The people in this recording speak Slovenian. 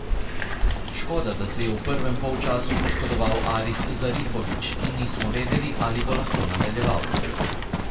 Škoda, da se je v prvem polčasu poškodoval Aris Zarifović in nismo vedeli, ali bo lahko nadaljeval.